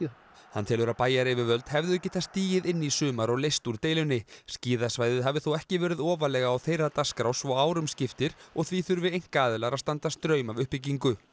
hann telur að bæjaryfirvöld hefðu geta stigið inn í sumar og leyst úr deilunni skíðasvæðið hafi þó ekki verið ofarlega á þeirra dagskrá svo árum skiptir og því þurfi einkaaðilar að standa straum af uppbyggingu